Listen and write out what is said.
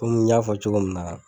Komi n y'a fɔ cogo min na.